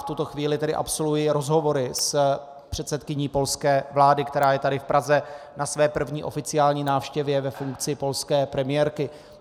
V tuto chvíli tedy absolvuji rozhovory s předsedkyní polské vlády, která je tady v Praze na své první oficiální návštěvě ve funkci polské premiérky.